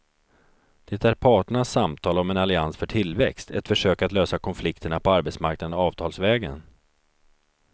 Det är parternas samtal om en allians för tillväxt, ett försök att lösa konflikterna på arbetsmarknaden avtalsvägen.